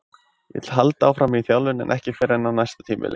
Ég vil halda áfram í þjálfun en ekki fyrr en á næsta tímabili.